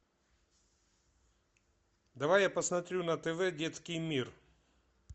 давай я посмотрю на тв детский мир